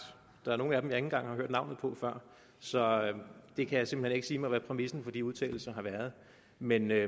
der er nogle af dem jeg ikke engang har hørt navnet på før så jeg kan simpelt hen ikke sige hvad præmissen for de udtalelser har været men det er